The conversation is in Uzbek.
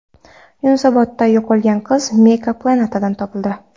Yunusobodda yo‘qolgan qiz Mega Planet’dan topildi.